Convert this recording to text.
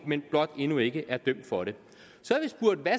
men blot endnu ikke er dømt for det